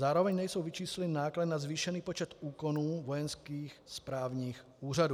Zároveň nejsou vyčísleny náklady na zvýšený počet úkonů vojenských správních úřadů.